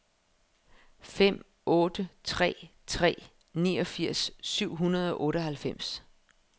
fem otte tre tre niogfirs syv hundrede og otteoghalvfems